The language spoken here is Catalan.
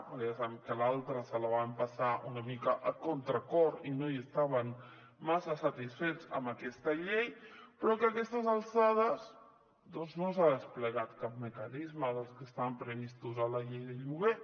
ja sabem que l’altra se la va empassar una mica a contracor i no estaven massa satisfets amb aquesta llei però que a aquestes alçades doncs no s’ha desplegat cap mecanisme dels que estaven previstos a la llei del lloguer